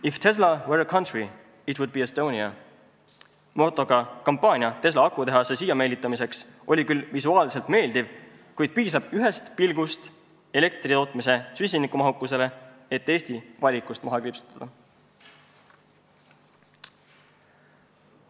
"If Tesla were a country, it would be Estonia" motoga kampaania Tesla akutehase siia meelitamiseks oli küll visuaalselt meeldiv, kuid piisab ühest pilgust meie elektritootmise süsinikumahukusele, et Eesti valikute hulgast maha kriipsutada.